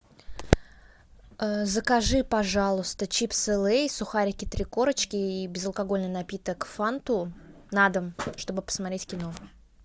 закажи пожалуйста чипсы лейс сухарики три корочки и безалкогольный напиток фанту на дом чтобы посмотреть кино